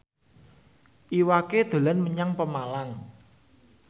Iwa K dolan menyang Pemalang